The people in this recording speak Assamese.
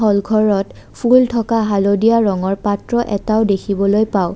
ফুল থকা হালধীয়া ৰঙৰ পত্ৰ এটাও দেখিবলৈ পাওঁ।